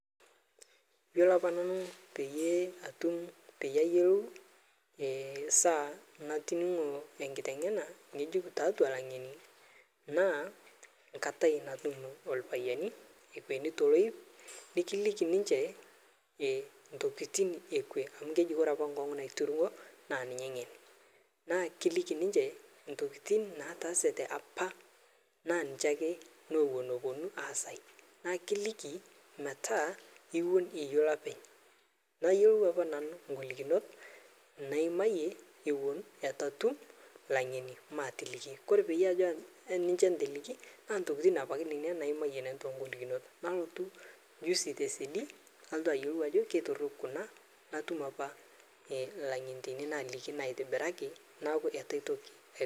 Yiolo apa nanu pee eyiolou esaa natoningo enkiteng'ena ng'ejuk tiatua langeni naa enkata nainepu ilpayiani ekweni toloip nikiliki elomon lee kwe amu keji ore apa enkongu naiterua naa ninye engen naa ekilikii entokitin natasate apa naa ninche ake naapuonu asai naa ekilikii metaa ewuan ayiolou openy nayiolou apa nanu golikinot nayimayie Eton eitu atum langeni matoliki ore tenijo ninje atoliki nalotu apailong nanu juzi ayiolou Ajo kitorok kuna natum apa langeni naitobiraki neeku eitu aitoki